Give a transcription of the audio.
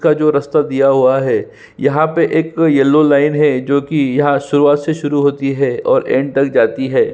का जो रास्ता दिया हुआ है यहाँ पे एक येलो लाइन है जो की यह सुरुवात से शुरू होती है और एन्ड तक जाती है।